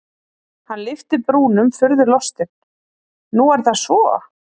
Hann lyfti brúnum furðulostinn:-Nú er það svo?